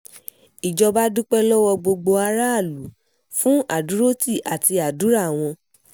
ìjọba dúpẹ́ lọ́wọ́ gbogbo aráàlú fún àdúrótì àti àdúrà wọn